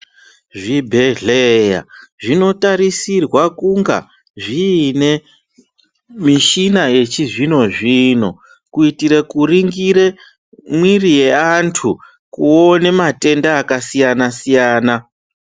Zvibhedhleya zvinotarisirwa kunga zvine mishina yechizvino zvino kuitire kuringire mwiri yeantu kuone matenda akasiyana siyana.